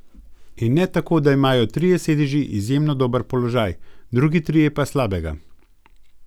In ne tako, da imajo trije sedeži izjemno dober položaj, drugi trije pa slabega.